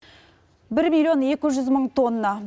бір миллион екі жүз мың тонна